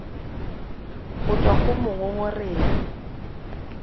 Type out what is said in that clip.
go tswa go mo mongongoregi